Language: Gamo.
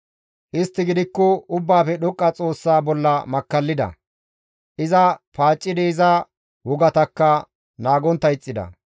Istti gidikko Ubbaafe Dhoqqa Xoossa bolla makkallida; iza paaccidi iza wogatakka naagontta ixxida.